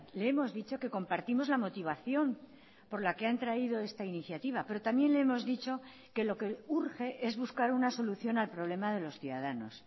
le hemos dicho que compartimos la motivación por la que han traído esta iniciativa pero también le hemos dicho que lo que urge es buscar una solución al problema de los ciudadanos